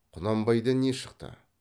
құнанбайдан не шықты